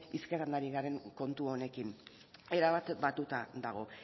hizketan ari garen kontu honekin erabat batuta dago